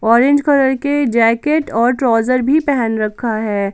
Orange colour के jacket और trouser भी पहन रखा है।